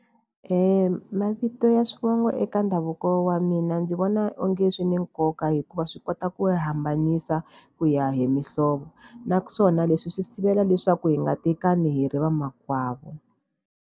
Mavito ya swivongo eka ndhavuko wa mina ndzi vona onge swi ni nkoka hikuva swi kota ku hambanisa, ku ya hi mihlovo. Naswona leswi swi sivela leswaku hi nga tekani hi ri vamakwavo.